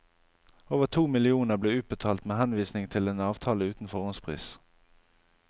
Over to millioner ble utbetalt med henvisning til en avtale uten forhåndspris.